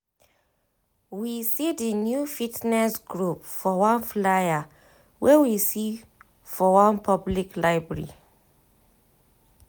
we see di new fitness group for one flyer wey we see for one public library